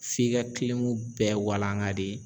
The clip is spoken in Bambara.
F'i ka kilimu bɛɛ walanga de